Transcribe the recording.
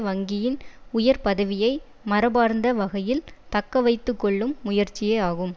வங்கியின் உயர் பதவியை மரபார்ந்த வகையில் தக்க வைத்து கொள்ளும் முயற்சியே ஆகும்